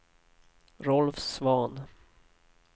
Rolf Svahn